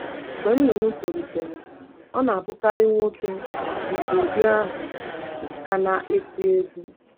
Mgbe nnụnụ tolitere, ọ na-abụkarị nwoke nke ụdị ahụ ka na-eti egwu.